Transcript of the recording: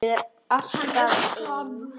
Ég er alltaf ein.